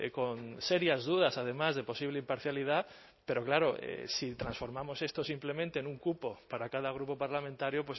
con serias dudas además de posible imparcialidad pero claro si transformamos esto simplemente en un cupo para cada grupo parlamentario